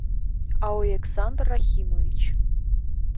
александр рахимович